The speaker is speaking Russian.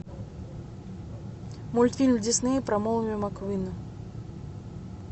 мультфильм дисней про молнию маквина